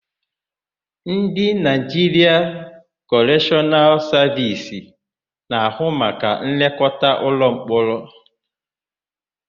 Ndị Naịjiria Kọreshọnal Savisi na-ahụ maka nlekọta ụlọmkpọrọ.